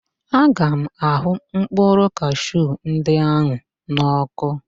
Aga m ahụ mkpụrụ kashiu ndị ahụ n ọ́kụ́.